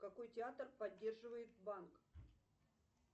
какой театр поддерживает банк